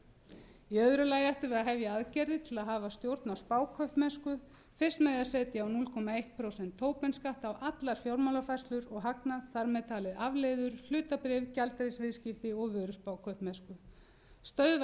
í öðru lagi ættum við að hefja aðgerðir til þess að hafa stjórn á spákaupmennsku fyrst með því að setja á núll komma eitt prósent tobin skatt á allar fjármálafærslur og hagnað þar með talið afleiður hlutabréf gjaldeyrisviðskipti og vöruspákaupmennsku stöðva